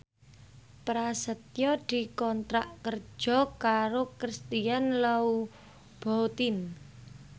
Prasetyo dikontrak kerja karo Christian Louboutin